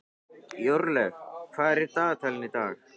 Jórlaug, hvað er á dagatalinu í dag?